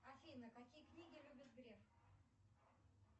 афина какие книги любит греф